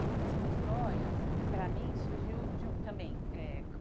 A contação de histórias, para mim, surgiu de um também eh.